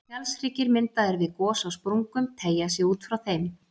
Fjallshryggir myndaðir við gos á sprungum teygja sig út frá þeim.